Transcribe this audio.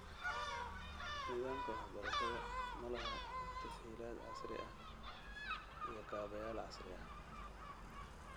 Nidaamka waxbarashada ma laha tas-hiilaad casri ah iyo kaabayaal casri ah.